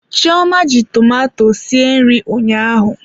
Chioma ji tomato sie nri ụnyaahụ.